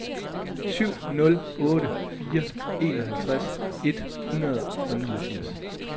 syv nul otte fire enoghalvtreds et hundrede og niogfirs